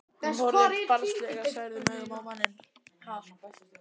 Hún horfir barnslega særðum augum á manninn.